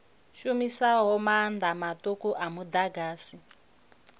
shumisaho maanḓa maṱuku a muḓagasi